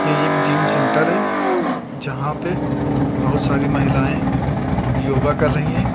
ये एक gym centre है जहां पे बहुत सारी महिलाएं योगा कर रही हैं।